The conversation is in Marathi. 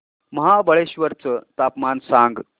महाबळेश्वर चं तापमान सांग